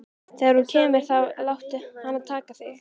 Þegar hún kemur þá láttu hana taka þig.